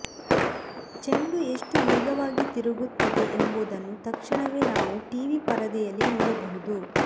ಚೆಂಡು ಎಷ್ಟು ವೇಗವಾಗಿ ತಿರುಗುತ್ತದೆ ಎಂಬುದನ್ನು ತಕ್ಷಣವೇ ನಾವು ಟಿವಿ ಪರದೆಯಲ್ಲಿ ನೋಡಬಹುದು